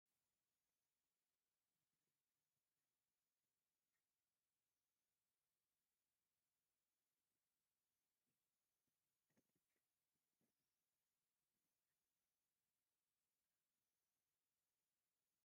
ኣብ ትግርይ ካብ ዝካየዱ ፅቡቃት ባህላዊ ልምድታት እቲ ሓደ ቆርዓ ምስ ተወልደ ድሕሪ 8ተ ወይ 12ተ መዓልቲ ነቲ ህፃን ናብ ደገ ፀሓይ ንክውቃዕ ዝወፅኣሉ ከይዲ እዩ።